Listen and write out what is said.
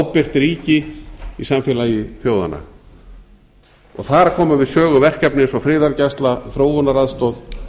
ábyrgt ríki í samfélagi þjóðanna þar koma við sögu verkefni eins og friðargæsla þróunaraðstoð